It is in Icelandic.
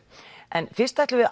en fyrst ætlum við